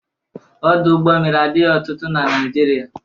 Ọdụ ụgbọ mmiri adịghị ọtụtụ na Naịjirịa.